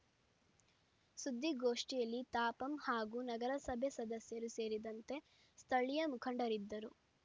ಸುದ್ದಿಗೋಷ್ಠಿಯಲ್ಲಿ ತಾಪಂ ಹಾಗೂ ನಗರಸಭೆ ಸದಸ್ಯರು ಸೇರಿದಂತೆ ಸ್ಥಳೀಯ ಮುಖಂಡರಿದ್ದರು